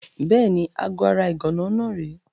Bẹ́ẹ̀ni, aago ara ìgànná náà rèé.